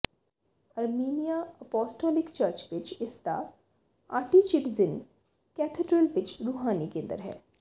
Armenia apostolic church ਵਿੱਚ ਇਸ ਦਾ ਆਟੀਚਿਡਜ਼ਿਨ ਕੈਥੇਡ੍ਰਲ ਵਿੱਚ ਰੂਹਾਨੀ ਕੇਂਦਰ ਹੈ